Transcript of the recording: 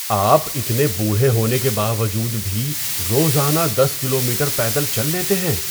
آپ اتنے بوڑھے ہونے کے باوجود بھی روزانہ دس کلومیٹر پیدل چل لیتے ہیں؟